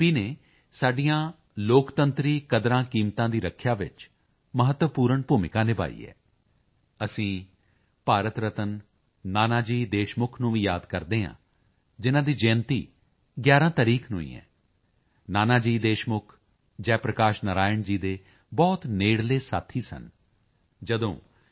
ਨੇ ਸਾਡੀਆਂ ਲੋਕਤੰਤਰੀ ਕਦਰਾਂਕੀਮਤਾਂ ਦੀ ਰੱਖਿਆ ਵਿੱਚ ਮਹੱਤਵਪੂਰਨ ਭੂਮਿਕਾ ਨਿਭਾਈ ਹੈ ਅਸੀਂ ਭਾਰਤ ਰਤਨ ਨਾਨਾ ਜੀ ਦੇਸ਼ਮੁਖ ਨੂੰ ਵੀ ਯਾਦ ਕਰਦੇ ਹਾਂ ਜਿਨ੍ਹਾਂ ਦੀ ਜਯੰਤੀ ਵੀ 11 ਤਾਰੀਖ ਨੂੰ ਹੀ ਹੈ ਨਾਨਾ ਜੀ ਦੇਸ਼ਮੁਖ ਜੈ ਪ੍ਰਕਾਸ਼ ਨਰਾਇਣ ਜੀ ਦੇ ਬਹੁਤ ਨੇੜਲੇ ਸਾਥੀ ਸਨ ਜਦੋਂ ਜੇ